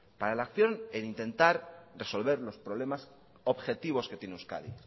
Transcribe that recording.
para la acción el intentar resolver los problemas objetivos que tiene euskadi